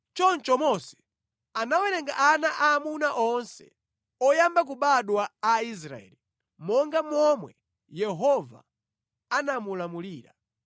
Choncho Mose anawerenga ana aamuna onse oyamba kubadwa a Aisraeli monga momwe Yehova anamulamulira.